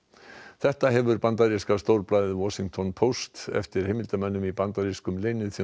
þetta hefur bandaríska stórblaðið Washington Post eftir heimildarmönnum í bandarískum